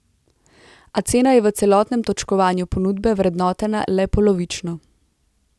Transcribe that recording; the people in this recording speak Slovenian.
A cena je v celotnem točkovanju ponudbe vrednotena le polovično.